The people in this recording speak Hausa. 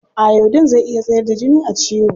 Iodine zai iya tsayar da jini a ciwo.